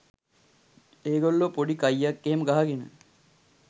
ඒගොල්ලො පොඩි කයියක් එහෙම ගහගෙන